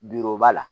b'a la